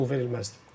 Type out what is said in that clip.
Bu da yol verilməzdir.